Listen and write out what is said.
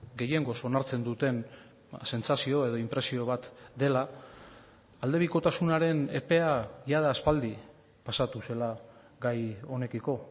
gehiengoz onartzen duten sentsazio edo inpresio bat dela aldebikotasunaren epea jada aspaldi pasatu zela gai honekiko